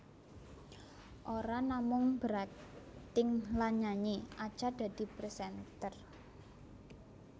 Ora namung berakting lan nyanyi Acha dadi presenter